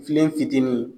Filen fitinin